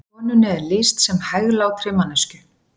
Konunni er lýst sem hæglátri manneskju